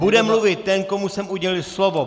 Bude mluvit ten, komu jsem udělil slovo.